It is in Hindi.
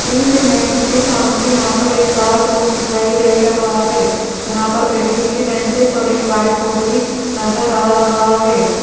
इस इमेज में सामने यहां पर एक क्लास रूम दिखाई दे रहा है जहां पर बैठने की बैंचेस और एक व्हाइट बोर्ड भी नजर आ रहा है।